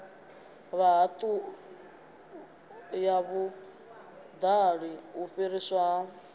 ya vhuṱali u fhiriswa ha